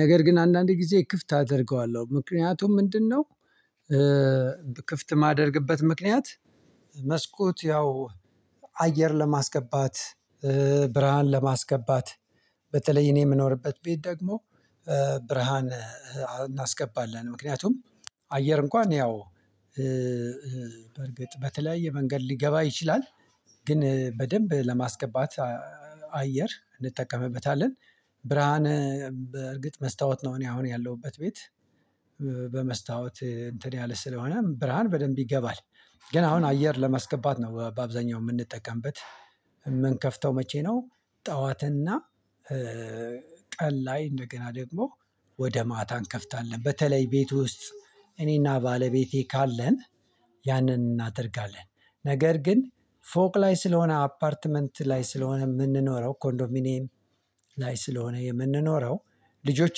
ነገር ግን አንዳንድ ጊዜ ክፍት አደርገዋለሁ ምክንያቱም ምንድነው? ክፍት የማደርግበት ምክንያት። መስኮት ያው አየር ለማስገባት ብርሃን ለማስገባት በተለይ እኔ የምኖርበት ቤት ደግሞ ብርሃን እናስገባለን። ምክንያቱም አየር እንኳን ያው በእርግጥ በተለያየ መንገድ ሊገባ ይችላል። ግን በደንብ ለማስገባት አየር እንጠቀምበታለን። ብርሃን በእርግጥ መስታወት ነው እኔ አሁን ያለሁበት ቤት። በመስታወት እንትን ያለ ስለሆነ ብርሃን በደንብ ይገባል። ግን አሁን አየር ለማስገባት ነው በአብዛኛው የምንጠቀምበት የምንከፍተው። መቼ ነው? ጠዋትና ቀን ላይ እንደገና ደግሞ ወደ ማታ እንከፍታለን በተለይ ቤት ውስጥ እኔና ባለቤቴ ካለን ያንን እናደርጋለን። ነገር ግን ፎቅ ላይ ስለሆነ አፓርትመንት ላይ ስለሆነ የምንኖረው ኮንዶሚኒየም ላይ ስለሆነ የምንኖረው ልጆች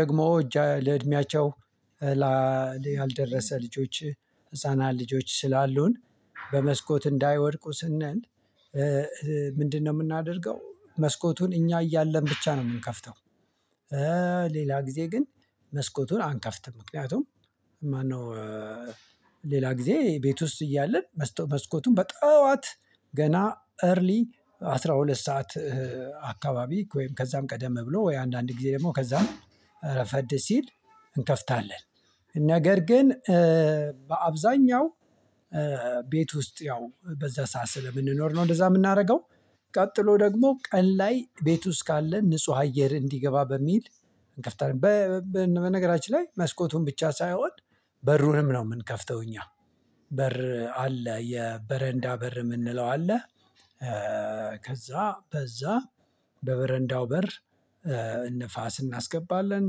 ደግሞ ለእድሜያቸው ያልደረሰ ልጆች ህፃናት ልጆች ስላሉን በመስኮት እንዳይወድቁ ስንል ምንድነው የምናደርገው መስኮቱን እኛ እያለን ብቻ ነው የምንከፍተው። ሌላ ጊዜ ግን መስኮቱን አንከፍትም ምክንያቱም ማነው? ሌላ ጊዜ ቤት ውስጥ እያለን መስኮቱን በጠዋት ገና እርሊ አስራ ሁለት ሰዓት አካባቢ ወይም ከዛም ቀደም ብሎ ወይ አንዳንድ ጊዜ ደግሞ ከዛም እረፈድ ሲል እንከፍታለን። ነገር ግን በአብዛኛው ቤት ውስጥ ያው በዛ ሰዓት ስለምንኖር ነው እንደዛ የምናደርገው። ቀጥሎ ደግሞ ቀን ላይ ቤቱ ውስጥ ካለ ንጹህ አየር እንዲገባ በሚል። በነገራችን ላይ መስኮቱን ብቻ ሳይሆን በሩንም ነው የምንከፍተው እኛ። በር አለ የበረንዳ በር የምንለው አለ። ከዛ በዛ በበረንዳው በር ንፋስ እናስገባለን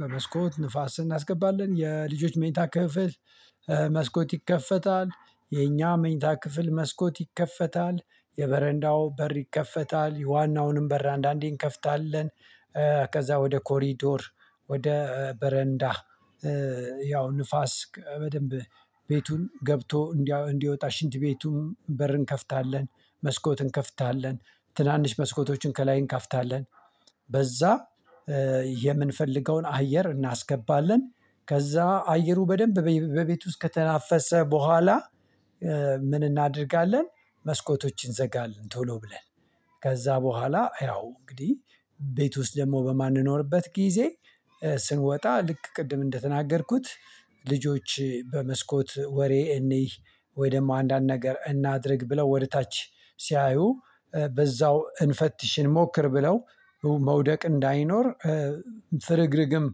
በመስኮት ንፋስ እናስገባለን የልጆች መኝታ ክፍል መስኮት ይከፈታል የኛ መኝታ ክፍል መስኮት ይከፈታል የበረንዳው በር ይከፈታል የዋናውንም በር አንዳንዴ እንከፍታለን። ከዛ ወደ ኮሪዶር ወደ በረንዳ ያው ንፋስ በደንብ ቤቱን ገብቶ እንዲወጣ ሽንት ቤቱንም በር እንከፍታለን። መስኮት እንከፍታለን ትናንሽ መስኮቶችን ከላይ እንከፍታለን። በዛ የምንፈልገውን አየር እናስገባለን። ከዛ አየሩ በደንብ በቤቱ ውስጥ ከተናፈሰ በኋላ ምን እናደርጋለን? መስኮቶችን እንዘጋልን ቶሎ ብለን። ከዛ በኋላ ያው እንግዲህ ቤት ውስጥ ደግሞ በማንኖርበት ጊዜ ስንወጣ ልክ ቅድም እንደተናገርኩት። ልጆች በመስኮት ወሬ እንይ ወይ ደግሞ አንዳንድ ነገር እናድርግ ብለው ወደ ታች ሲያዩ በዛው እንፈትሽ እንሞክር ብለው መውደቅ እንዳይኖር ፍርግርግም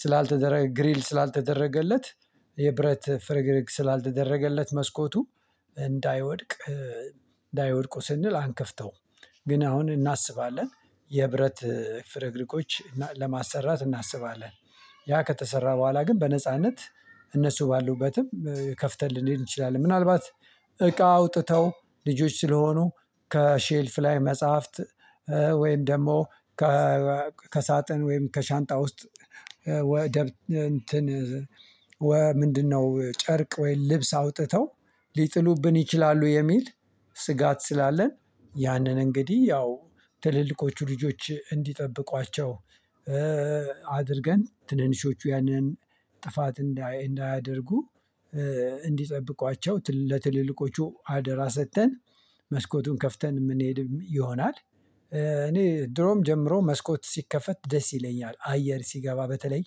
ስላልተደረገ ግሪል ስላልተደረገለት የብረት ፍርግርግ ስላልተደረገለት መስኮቱ እንዳይወድቅ እንዳይወድቁ ስንል አንከፍተውም። ግን አሁን እናስባለን የብረት ፍርግርጎች ለማሰራት እናስባለን ያ ከተሰራ በኋላ ግን በነጻነት እነሱ ባሉበትም ከፍተን ልንሄድ እንችላለን። ምናልባት እቃ አውጥተው ልጆች ስለሆኑ ከሼልፍ ላይ መጽሐፍት ወይም ደግሞ ከሳጥን ወይም ከሻንጣ ውስጥ ወይ እንትን ምንድነው ጨርቅ ወይም ልብስ አውጥተው ሊጥሉብን ይችላሉ። የሚል ስጋት ስላለን ያንን እንግዲህ ያው ትልልቆቹ ልጆች እንዲጠብቋቸው አድርገን ትንንሾቹ ያን ያን ጥፋት እንዳያደርጉ እንዲጠብቋቸው ለትልልቆቹ አደራ ሰጥተን መስኮቱን ከፍተን የምንሄድ ይሆናል። እኔ ድሮም ጀምሮ መስኮት ሲከፈት ደስ ይለኛል። አየር ሲገባ በተለይ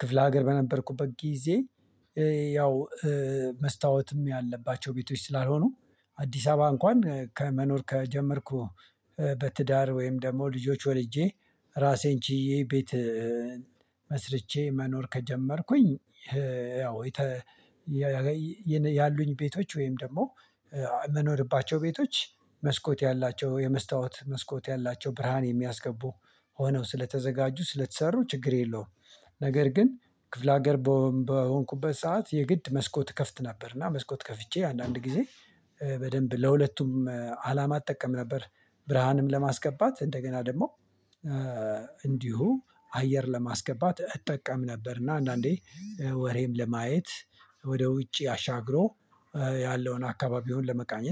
ክፍለ ሀገር በነበርኩበት ጊዜ ያው መስታወትም ያለባቸው ቤቶች ስላልሆኑ አዲስ አበባ እንኳን መኖር ከጀመርኩ። በትዳር ወይም ደግሞ ልጆች ወልጄ ራሴን ችዬ ቤት መስርቼ መኖር ከጀመርኩኝ። ያው ያሉኝ ቤቶች ወይም ደግሞ የምንኖርባቸው ቤቶች መስኮት ያላቸው የመስታወት መስኮት ያላቸው ብርሃን የሚያስገቡ ሆነው ስለተዘጋጁ ስለተሰሩ ችግር የለውም። ነገር ግን ክፍለ ሀገር በሆንኩበት ሰዓት የግድ መስኮት እከፍት ነበር እና መስኮት ከፍቼ አንዳንድ ጊዜ በደንብ ለሁለቱም አላማ እጠቀም ነበር። ብርሃንም ለማስገባት እንደገና ደግሞ እንዲሁ አየር ለማስገባት እጠቀም ነበር እና አንዳንዴ ወሬም ለማየት ወደ ውጪ አሻግሮ ያለውን አካባቢውን ለመቃኘት